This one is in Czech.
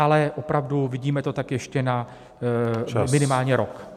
Ale opravdu, vidíme to tak ještě na minimálně rok.